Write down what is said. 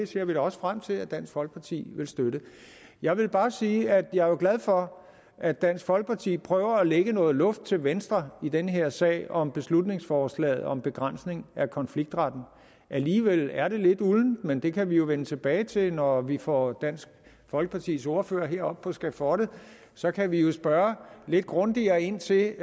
ser da også frem til at dansk folkeparti vil støtte det jeg vil bare sige at jeg jo er glad for at dansk folkeparti prøver at lægge noget luft til venstre i den her sag om beslutningsforslaget om begrænsning af konfliktretten alligevel er det lidt uldent men det kan vi jo vende tilbage til når vi får dansk folkepartis ordfører herop på skafottet og så kan vi jo spørge lidt grundigere ind til